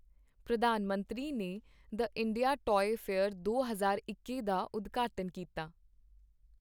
ਪ੍ਰਧਾਨ ਮੰਤਰੀ ਨੇ ਦ ਇੰਡੀਆ ਟੌਆਏ ਫੇਅਰ ਦੋ ਹਜ਼ਾਰ ਇੱਕੀ ਦਾ ਉਦਘਾਟਨ ਕੀਤਾ